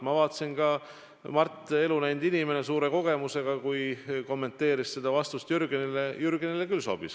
Ma vaatasin ka, et kui Mart – elu näinud inimene, suurte kogemustega inimene – kommenteeris seda vastust Jürgenile, siis Jürgenile küll sobis.